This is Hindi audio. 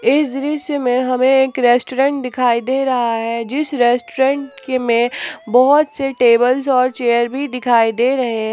इस दृश्य मे हमें एक रेस्टोरेंट दिखाई दे रहा है जिस रेस्टोरेंट के में बहुत से टेबलस और चेयर भी दिखाई दे रहे--